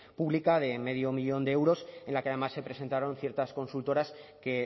pública de medio millón de euros en la que además se presentaron ciertas consultoras que